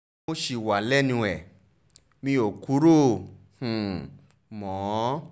mo ṣì wà lẹ́nu ẹ̀ mi ò kúrò um mọ́